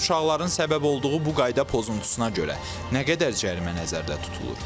Əsasən uşaqların səbəb olduğu bu qayda pozuntusuna görə nə qədər cərimə nəzərdə tutulur?